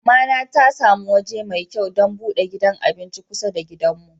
Mama na ta samu waje mai kyau dan bude gidan abinci kusa da gidan mu.